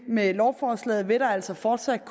med lovforslaget vil der altså fortsat